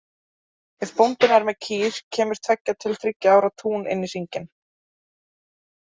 Ef bóndinn er með kýr kemur tveggja til þriggja ára tún inn í hringinn.